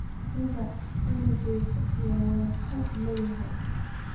Aniga cunugan aya wax oodhil ii eeh.